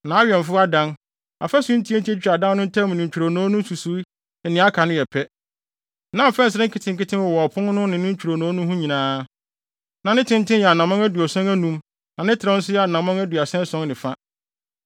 Nʼawɛmfo adan, afasu ntiatia a etwitwa adan no ntam ne ntwironoo no nsusuwii ne nea aka no yɛ pɛ. Na mfɛnsere nketenkete wowɔ ɔpon no ne ne ntwironoo no ho nyinaa. Na ne tenten yɛ anammɔn aduɔson anum na ne trɛw nso yɛ anammɔn aduasa ason ne fa.